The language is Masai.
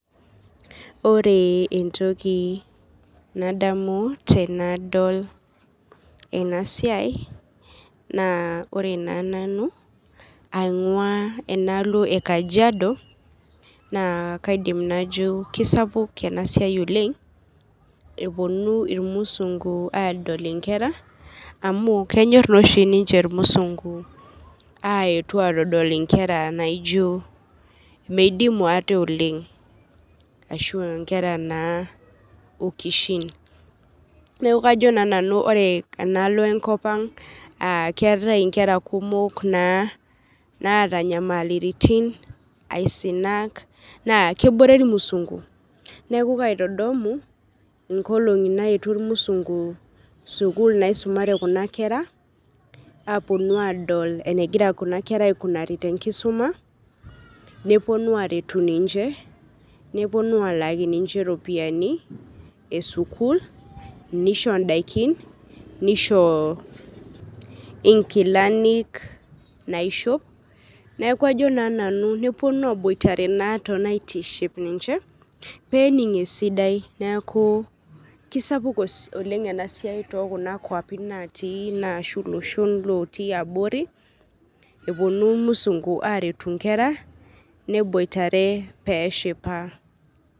Oree entoki nadamu tenadol enasiai naa ore naa nanu ang'uaa enalo e kajiado naa kaidim najo keisapuk enasiai oleng', epuonu ilmusungu adol inkera amu kenyorr nooshi ninche ilmusungu aaretu atodol inkera naijo meidimu ate oleng' ashu inkera naa okishin. Neaku kajo naa nanu ore enalo enkopang' aah keatai inkera kumok naa naata inyamaliritin, aisinak naa kebore ilmusungu. Neaku kaitodomu inkolong'i naetuo ilmusungu sukul naisumare kuna kera apuonu adol enegira kuna aikunari tenkisuma nepuonu aretu ninche, nepuonu alaaki ninche ropiani esukul neisho indaikin, neishoo inkilanik naishop. Neaku ajo naa nanu nepuonu abuoitare naa tonaitiship ninche peening' esidai, neaku keisapuk oleng' enasiai tookuna kuapi natii naashu loshon lotii abori epuonu ilmusungu aretu inkera neboitare peeshipa.